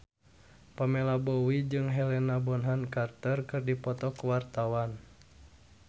Pamela Bowie jeung Helena Bonham Carter keur dipoto ku wartawan